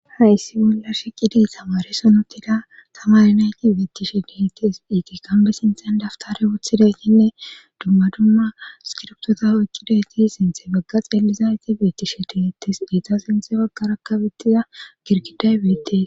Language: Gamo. hayssi bolla sheqidi tamaare sonotida tamari nayti beettishe diheties piiti kambe sinthen daftare wuthideytinne dumma dumma skiroptota ykkidayti sinthe bagga xelizayte beettishe dehettes beeta sinthe baggar akabettiza girkiday beettee